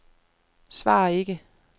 svar ikke